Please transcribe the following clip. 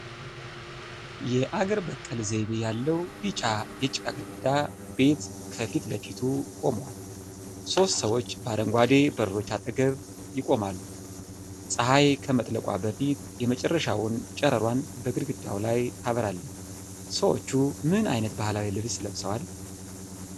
የአገር በቀል ዘይቤ ያለው ቢጫ የጭቃ ግድግዳ ቤት ከፊት ለፊቱ ቆመዋል። ሦስት ሰዎች በአረንጓዴ በሮች አጠገብ ይቆማሉ። ፀሐይ ከመጥለቋ በፊት የመጨረሻውን ጨረሯን በግድግዳው ላይ ታበራለች። ሰዎቹ ምን ዓይነት ባህላዊ ልብስ ለብሰዋል?